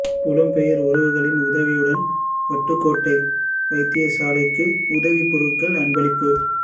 புலம்பெயர் உறவுகளின் உதவியுடன் வட்டுக்கோட்டை வைத்தியசாலைக்கு உதவிப் பொருட்கள் அன்பளிப்பு